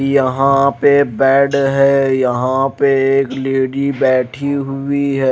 यहां पे बेड है यहां पे एक लेडी बैठी हुई है।